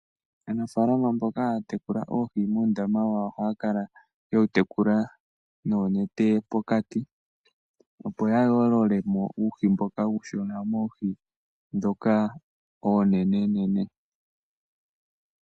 Aanafaalama mboka haya tekula oohi uundama wawo ohaya kala ye wu topola noonete pokati opo ya yoolole mo uuhi mboka uushona moohi ndhoka oonenenene.